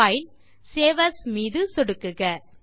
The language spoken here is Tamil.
பைல் சேவ் ஏஎஸ் மீது சொடுக்குக